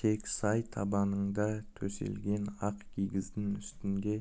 тек сай табанында төселген ақ кигіздің үстінде